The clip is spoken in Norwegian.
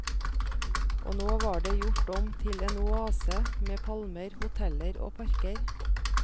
Og nå var det gjort om til en oase med palmer, hoteller og parker.